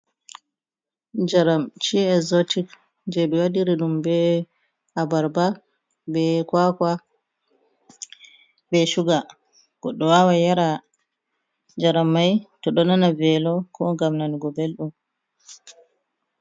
Jaramchi ezotic jeɓewadiri ɗum be a barba bekwakwa be shuga goɗɗo wawa yara jarammai to ɗo nana velo ko gam nan go belɗum.